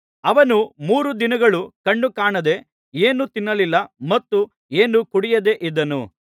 ಅವನು ಮೂರು ದಿನಗಳು ಕಣ್ಣುಕಾಣದೆ ಏನೂ ತಿನ್ನಲಿಲ್ಲ ಮತ್ತು ಏನೂ ಕುಡಿಯದೇ ಇದ್ದನು